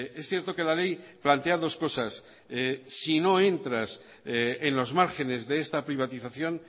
es cierto que la ley plantea dos cosas si no entras en los márgenes de esta privatización